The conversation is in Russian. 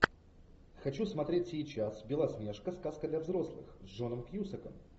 хочу смотреть сейчас белоснежка сказка для взрослых с джоном кьюсаком